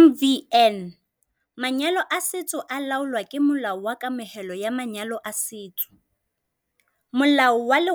MvN- Manyalo a setso a laolwa ke Molao wa Kamohelo ya Manyalo a Setso, Molao wa 120